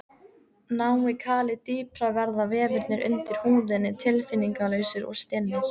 Nái kalið dýpra verða vefirnir undir húðinni tilfinningalausir og stinnir.